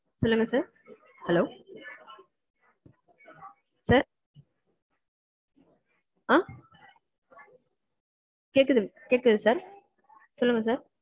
சொல்லுங்க sir hello sir? அஹ் கேக்குது கேக்குது sir.